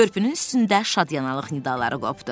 Körpünün üstündə şadlıq nidaqları qopdu.